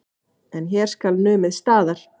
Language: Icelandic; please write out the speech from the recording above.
En hér skal numið staðar.